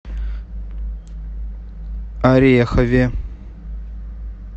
орехове